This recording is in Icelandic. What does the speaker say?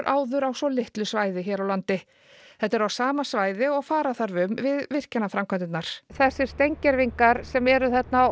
áður á svo litlu svæði þetta er á sama svæði og fara þarf um við virkjanaframkvæmdirnar þessi steingervingar sem eru þarna